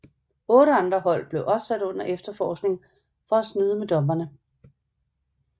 Otte andre hold blev også sat under efterforskning for at snyde med dommerne